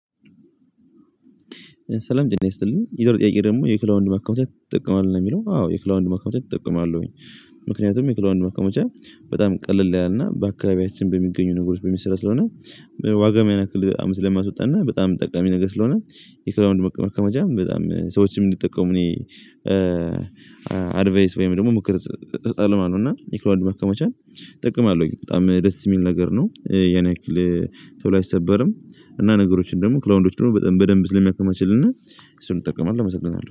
ሰላም ጠና ይስጥልኝ ይዛሬ ጥያቄ ደግሞ የክላውንድ ማካማቻ ይጠቅማል ነው የሚለው አዎ የክላውንድ ማካማቻ ምክንያቱም የክላውንድ ማካመቻ በጣም ቀለል ያልና በአካባቢያችን በሚገኙ ነገሮች በሚሰራ ስለሆነ ዋጋም ያን ያክል በጣም ስለማስወጣ እና በጣም ጠቀሚ ነገር ስለሆነ የክላዉንድ መካማቻ በጣም ሰዎችንም ምንጠቀሙ እኔ አድቫይስ ወይም ደግሞ ምክር እሰጣለሁ ማለት ነው እና ኒክሮአንድ መከማቻ እጠቀማለሁኝ በጣም ደስ የሚል ነገር ነው። የኔ አይክል ቶሎ አይሰበርም እና ነገሮችን ደግሞ ክላውንዶች ደግሞ በደንብ ስለሚያክማችልና አሱን እጠቀማለሁ እመሰግናለው።